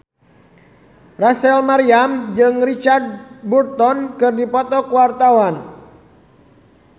Rachel Maryam jeung Richard Burton keur dipoto ku wartawan